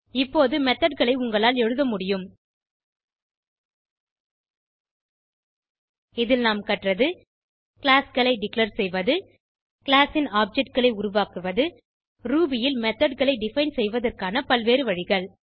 இப்போது methodகளை உங்களால் எழுத முடியும் இதில் நாம் கற்றது கிளாஸ் களை டெக்லார் செய்வது கிளாஸ் ன் objectகளை உருவாக்குவது ரூபி ல் methodகளை டிஃபைன் செய்வதற்கான பல்வேறு வழிகள்